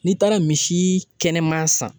N'i taara misi kɛnɛman san